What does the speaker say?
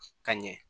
Ka ɲɛ